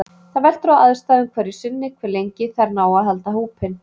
Það veltur á aðstæðum hverju sinni hve lengi þær ná að halda hópinn.